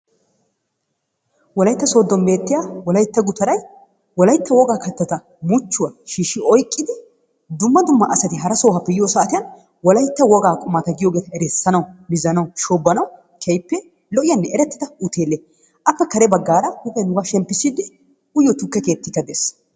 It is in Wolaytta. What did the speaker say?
Wolayitta sooddon beettiya wolayitta gutaray wolayitta wogaa katata muchchuwa shiishi oyiqidi dumma dumma asati hara sohuwaappe yiyo saatiyan wolayitta wogaa qumata giyoogeeta erissanawu, mizanawu, shoobanawu, keehippe lo"iyaanne erettida hooteele. Appe kare baggaara huuphiya nuugaa shemppissiiddi uyiyoo tukke keettikka des.